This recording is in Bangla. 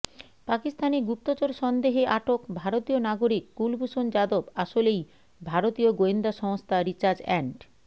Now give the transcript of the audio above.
পাকিস্তানে গুপ্তচর সন্দেহে আটক ভারতীয় নাগরিক কুলভূষণ যাদব আসলেই ভারতীয় গোয়েন্দা সংস্থা রিসার্চ অ্যান্ড